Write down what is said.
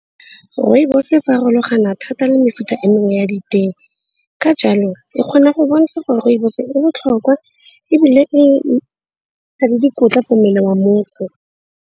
Rooibos e farologana thata le mefuta e mengwe ya ditee. Ka jalo e kgona go bontsha gore rooibos e botlhokwa ebile e na le dikotla mo mmeleng wa motho.